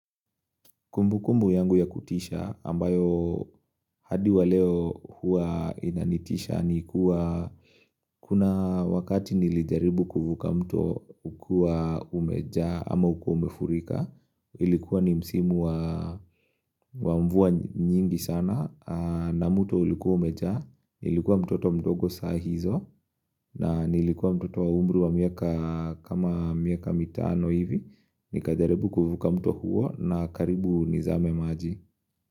Kumbu kumbu yangu ya kutisha ambayo hadi wa leo hua inanitisha ni kuwa kuna wakati nilijaribu kuvuka mto ukiwa umejaa ama ukiwa umefurika. Ilikuwa ni msimu wa mvua nyingi sana na mto ulikuwa umejaa. Nilikuwa mtoto mdogo saa hizo na nilikuwa mtoto wa umri wa miaka kama miaka mitano hivi. Nikajaribu kuvuka mto huo na karibu nizame maji.